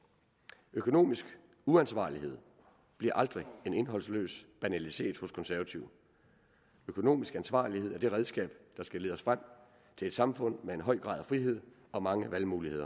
økonomisk ansvarlighed bliver aldrig en indholdsløs banalitet hos konservative økonomisk ansvarlighed er det redskab der skal lede os frem til et samfund med en høj grad af frihed og mange valgmuligheder